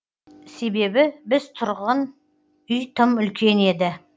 себебі біз тұрған үй тым үлкен еді